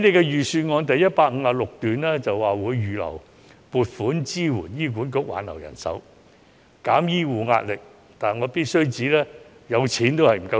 預算案第156段指出，政府會預留撥款支援醫管局挽留人手，減輕醫護人員的壓力。